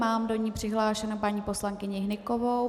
Mám do ní přihlášenou paní poslankyni Hnykovou.